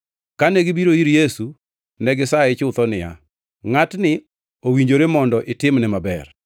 Kane gibiro ir Yesu negisaye chutho niya, “Ngʼatni owinjore mondo itimne maber,